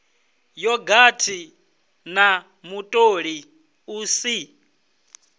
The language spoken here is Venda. yogathi na mutoli u si